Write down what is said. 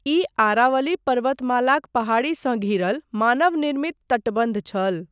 ई अरावली पर्वतमालाक पहाड़ीसँ घिरल मानव निर्मित तटबन्ध छल।